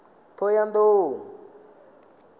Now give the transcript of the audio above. thohoyandou